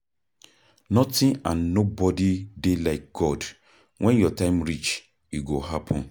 Nothing and nobody dey like God. Wen your time reach e go happen